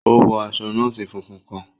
O wọ aṣọ nọọsi fúnfún kàn.